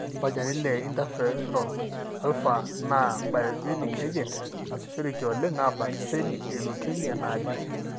ore olchani le interferon alfa na biologic agent nasishoreki oleng abaak iseli eleukemia najuu.